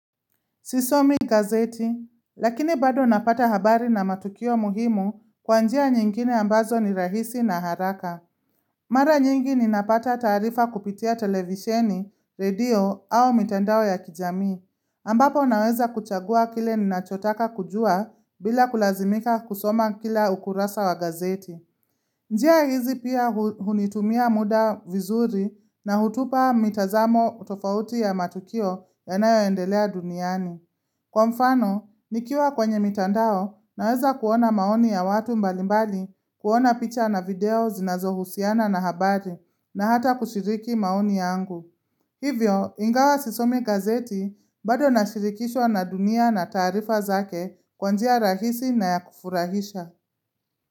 Sisomi gazeti, lakini bado napata habari na matukio muhimu kwa njia nyingine ambazo ni rahisi na haraka. Mara nyingi ninapata taarifa kupitia televisheni, redio au mitandao ya kijamii. Ambapo ninaweza kuchagua kile ninachotaka kujua bila kulazimika kusoma kila ukurasa wa gazeti. Njia hizi pia hunitumia muda vizuri na hutupa mitazamo tofauti ya matukio yanayo endelea duniani. Kwa mfano, nikiwa kwenye mitandao naweza kuona maoni ya watu mbalimbali kuona picha na video zinazo husiana na habari na hata kushiriki maoni yangu. Hivyo, ingawa sisomi gazeti bado na shirikishwa na dunia na taarifa zake kwanjia rahisi na ya kufurahisha.